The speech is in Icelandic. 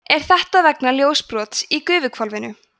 er þetta vegna ljósbrots í gufuhvolfinu